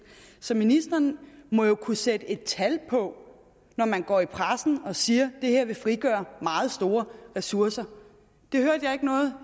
så ministeren må jo kunne sætte et tal på når man går i pressen og siger det her vil frigøre meget store ressourcer det hørte jeg ikke noget